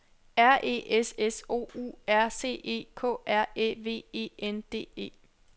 R E S S O U R C E K R Æ V E N D E